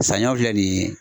Saɲɔ filɛ nin